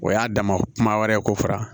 O y'a dama kuma wɛrɛ ye ko faran